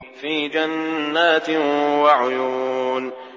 فِي جَنَّاتٍ وَعُيُونٍ